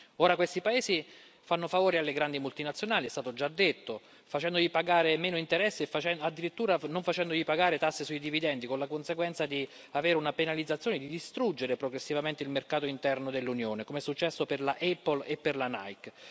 Ora, questi paesi fanno favori alle grandi multinazionali è stato già detto facendogli pagare meno interessi e addirittura non facendogli pagare tasse sui dividendi, con la conseguenza di avere una penalizzazione e di distruggere progressivamente il mercato interno dell'Unione, come è successo per la Apple e per la Nike.